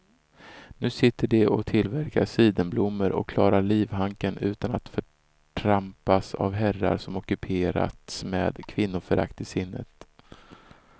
Nu sitter de och tillverkar sidenblommor och klarar livhanken utan att förtrampas av herrar som ockuperats med kvinnoförakt i sinnet.